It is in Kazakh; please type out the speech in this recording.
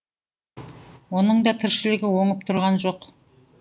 оның да тіршілігі оңып тұрған жоқ